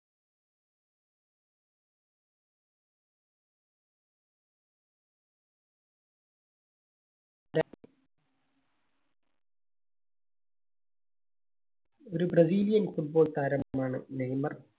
ഒരു Brazil യൻ Football താരം ആണ് നെയ്‌മർ.